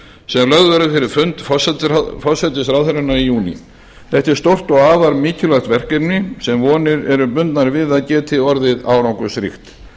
verður fyrir fund forsætisráðherranna í júní þetta er stórt og afar mikilvægt verkefni sem vonir eru bundnar við að geti orðið árangursríkt